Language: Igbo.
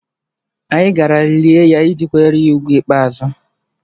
Anyị gara lie ya iji kwanyere anyị ùgwù ikpeazụ